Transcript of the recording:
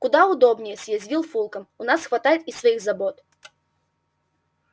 куда удобнее съязвил фулкам у нас хватает и своих забот